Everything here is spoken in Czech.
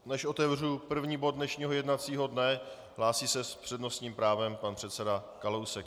Než otevřu první bod dnešního jednacího dne, hlásí se s přednostním právem pan předseda Kalousek.